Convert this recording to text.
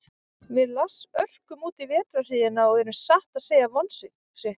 Við Lars örkum útí vetrarhríðina og erum satt að segja vonsviknir.